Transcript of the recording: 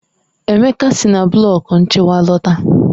Emeka si na blọku nchịkwa lọta.